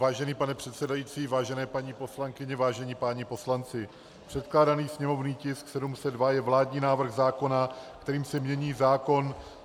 Vážený pane předsedající, vážené paní poslankyně, vážení páni poslanci, předkládaný sněmovní tisk 702 je vládní návrh zákona, kterým se mění zákon -